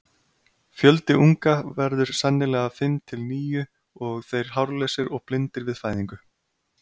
Fjöldi unga verður sennilega fimm til níu og þeir hárlausir og blindir við fæðingu.